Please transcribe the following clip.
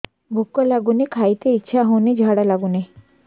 ଭୁକ ଲାଗୁନି ଖାଇତେ ଇଛା ହଉନି ଝାଡ଼ା ଲାଗୁନି